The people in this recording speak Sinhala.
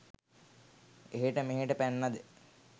එහෙට මෙහෙට පැන්නද?